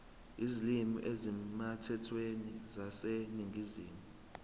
izilimi ezisemthethweni zaseningizimu